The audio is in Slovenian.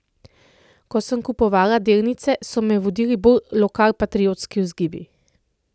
Ko sem kupovala delnice, so me vodili bolj lokalpatriotski vzgibi.